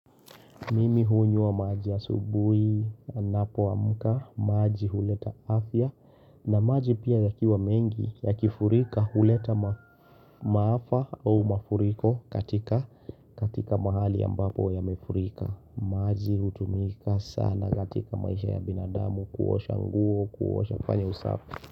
Mimi hunywa maji subuhi ninapo amka maji huleta afya na maji pia yakiwa mengi yakifurika huleta maafa au mafuriko katika katika mahali ambapo yamefurika. Maji hutumika sana katika maisha ya binadamu kuosha nguo kuosha kufanya usafi.